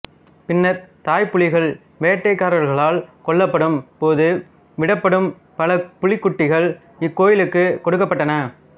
பின்னர் தாய்ப்புலிகள் வேட்டைக்காரர்களால் கொல்லப்படும்போது விடப்படும் பல புலிக்குட்டிகள் இக்கோயிலுக்குக் கொடுக்கப்பட்டன